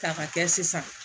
K'a ka kɛ sisan